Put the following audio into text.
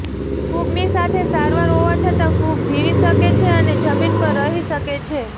ફુગની સાથે સારવાર હોવા છતાં ફૂગ જીવી શકે છે અને જમીન પર રહી શકે છે